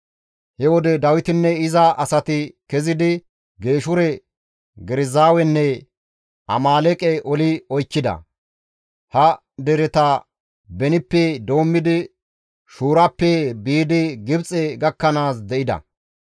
He wode Dawitinne iza asati kezidi Geeshure, Gerizaawenne Amaaleeqe oli oykkida. Ha dereti benippe doommidi Shuurappe biidi Gibxe gakkanaas de7ida.